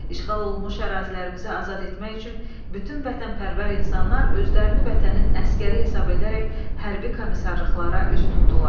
İşğal olunmuş ərazilərimizi azad etmək üçün bütün vətənpərvər insanlar özlərini vətənin əsgəri hesab edərək hərbi komissarlıqlara üz tutdular.